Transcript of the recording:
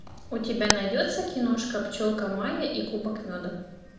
у тебя найдется киношка пчелка майя и кубок меда